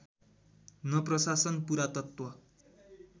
न प्रशासन पुरातत्त्व